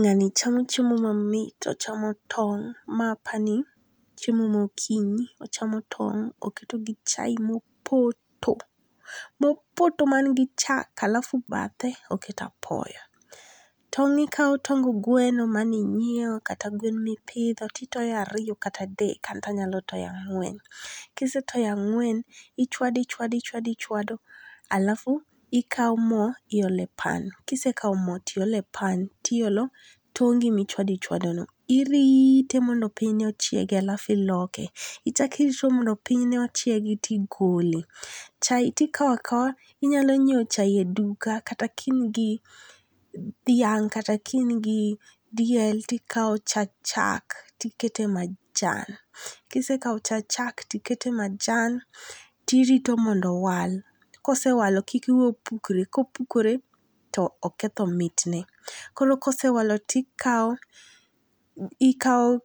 Nga'ni chamo chiemo mamit ochamo tong', mae apani chiemo mogokinyi ochamo tong' oketo gi chai mopoto mopoto mangi chak alafu bathe oketo apoyo, tong' ikawo tong gweno maninyiewo kata ngwen mipitho to itoyo ariyo kata adek anto anya toyo ang'we, kisetoyo ang'wen tichwado ichwado ichawado alafu ikawo mo tiole pan no, kisekau mo tiole pan tiolo tongi mane ichado ichadono irite mondo piny ochiegi alafu iloke ichakirito mondo pinyne ochiegi alafu igole, chai tikao akawa tinyalo nyiewo chai ni e duka kata ka ingi dhiang' kata ka in gi diel tikawo chak tikete majan, kisekao cha chak tikete maja tirito mondo wal kosewalo kik iweye opukre kopukore to oketho mitne, koro kosewalo tikawo ikawo